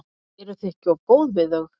Eruð þið ekki of góð við þau?